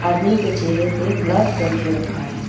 आदमी के चेहरे पे ब्लर करके रखा है।